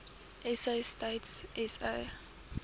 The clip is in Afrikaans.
sa stats sa